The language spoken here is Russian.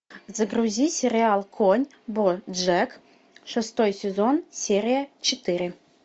загрузи сериал конь боджек шестой сезон серия четыре